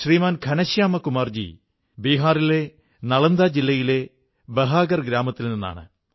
ശ്രീമാൻ ഘനശ്യാമ കുമാർജി ബീഹാറിലെ നാളന്ദാ ജില്ലയിലെ ബഹാകർ ഗ്രാമത്തിൽ നിന്നാണ്